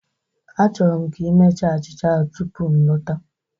Achọrọ m ka ị mechaa achịcha ahụ tupu m lọta